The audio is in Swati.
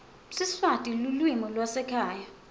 siswati lulwimi lwasekhaya